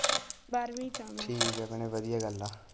ਬਾਰਵੀਂ ਚ ਆ ਮੈਂ ਠੀਕ ਆ ਭੈਣੇ ਵਧੀਆ ਗੱਲ ਆ।